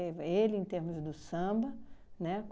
ve ele em termos do samba, né?